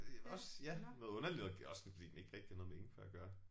Også ja noget underligt noget også fordi den ikke rigtig har noget med ingefær at gøre